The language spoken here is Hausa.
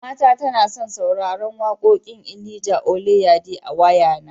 Mamata tana son sauraran wakoƙin Elijah Oyelade a wayana.